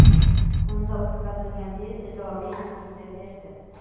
Unda o‘tkazilgan test ijobiy natija berdi.